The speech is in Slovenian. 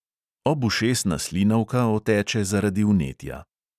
Obušesna slinavka oteče zaradi vnetja.